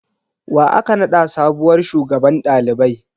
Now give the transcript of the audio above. Wa aka naɗa sabuwar shugaban ɗalibai?